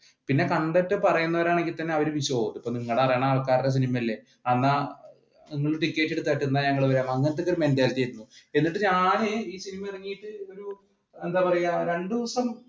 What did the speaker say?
പിന്നെ കണ്ടിട്ട് പറയുന്നവർ ആണെങ്കി തന്നെ നിങ്ങളറിയാവുന്ന ആൾക്കാരുടെ സിനിമയല്ലേ എന്നിട്ട് ഞാൻ എന്താ പറയുക ഒരു രണ്ടു ദിവസം